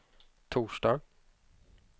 torsdag